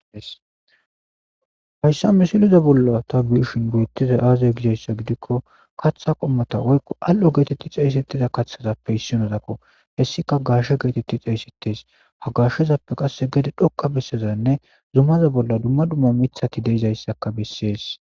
Hayssa misiliza bolla ta biishin geyettiza aazay gizayssa gidikko kaththa qommata oykqo al7o geetetti caysettiza kathazappe hissin odakko hessika garshe geetetti cayssettes hagashshezappe qasse gede dhoqa bessezanne zumaza bolla dumma dumma mithati deizayssaka bessees.